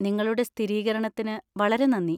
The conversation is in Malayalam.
നിങ്ങളുടെ സ്ഥിരീകരണത്തിന് വളരെ നന്ദി.